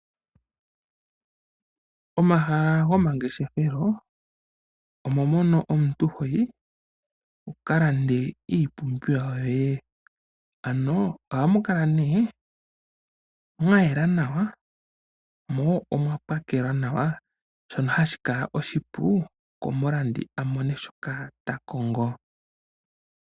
Omahala gomangeshethelo, omo mono omuntu hoyi wukalande iipumbiwa yoye. Ano ohamu kala nee mwayela nawa, mo omwa pakelwa nawa, shono hashi kala oshipu komulandi a mone shoka takongo.